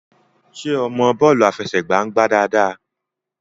ṣe ọ mọ bọọlu afẹsẹgba ngbà dáadáa?